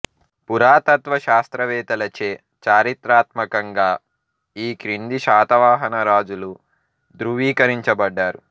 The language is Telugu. పురాతత్వ శాస్త్రవేత్తలచే చారిత్రాత్మకంగా ఈ క్రింది శాతవాహన రాజులు ధ్రువీకరించబడ్డారు